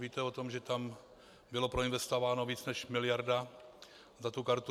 Víte o tom, že tam byla proinvestována více než miliarda za tu kartu.